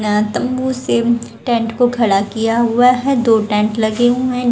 तंबू से टेंट को खड़ा किया हुआ है। दो टेंट लगे हुए--